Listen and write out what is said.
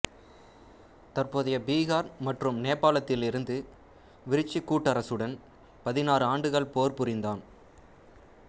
தற்போதய பீகார் மற்றும் நேபாளத்திலிருந்த விரிச்சி கூட்டரசுடன் பதினாறாண்டுகள் போர் புரிந்தான்